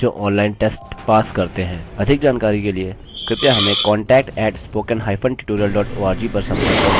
अधिक जानकारी के लिए कृपया contact at spoken hyphen tutorial dot org पर संपर्क करें